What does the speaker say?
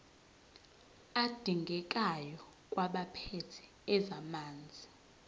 adingekayo kwabaphethe ezamanzi